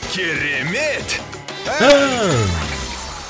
керемет ән